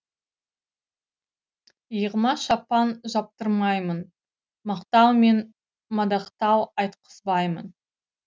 иығыма шапан жаптырмаймын мақтау мен мадақтау айтқызбаймын